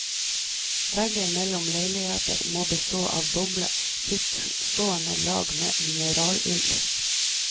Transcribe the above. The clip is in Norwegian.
Vegger mellom leiligheter må bestå av doble, frittstående lag med mineralull.